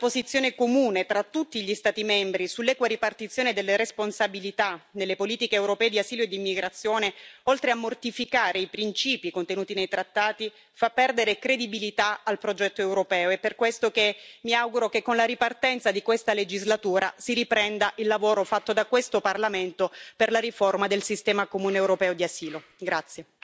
La mancanza di una posizione comune tra tutti gli Stati membri sull'equa ripartizione delle responsabilità nelle politiche europee di asilo e di immigrazione, oltre a mortificare i principi contenuti nei trattati, fa perdere credibilità al progetto europeo ed è per questo che mi auguro che, con la ripartenza di questa legislatura, si riprenda il lavoro fatto da questo Parlamento per la riforma del sistema comune europeo di asilo.